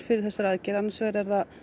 fyrir þessari aðgerð annars vegar